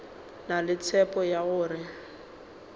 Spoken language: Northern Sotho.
na le tshepo ya gore